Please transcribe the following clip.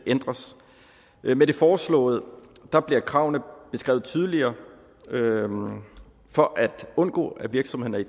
ændres med det foreslåede bliver kravene beskrevet tydeligere for at undgå at virksomhederne